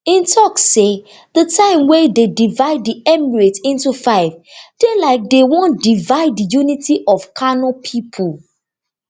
im tok say di time wey dey divide di emirate in to five dey like dey wan divide di unity of kano pipo